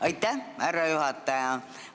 Aitäh, härra juhataja!